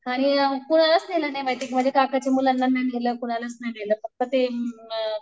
आणि कोणालाच नेलं नाही माहिती का काकांच्या मुलांना नाही नेलं कुणालाच नाही नेलं.